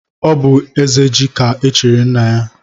Ọ bú ezeji ka echiri nna ya.